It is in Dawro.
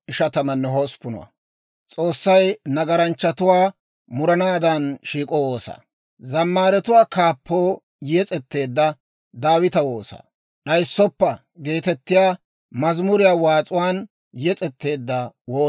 Hinttenoo deriyaa mooddiyaawanttoo, tumuwaappe likkiyaa haasayiitee? Asaa ubbaa giddon s'illuwaa pirddiitee?